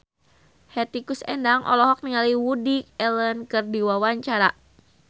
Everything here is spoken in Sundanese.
Hetty Koes Endang olohok ningali Woody Allen keur diwawancara